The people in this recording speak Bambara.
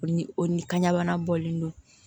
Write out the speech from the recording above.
O ni o ni kanɲana bɔlen don